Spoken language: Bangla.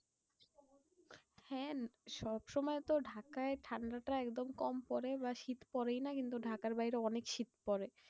হ্যাঁ সব সময় তো ঢাকায় ঠান্ডাটা একদম কম পরে বা শীত পরেইনা কিন্তু ঢাকার বাইরে অনেক শীত পরে।